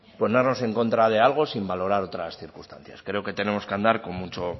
ponernos en contra de algo sin valorar otras circunstancias creo que tenemos que andar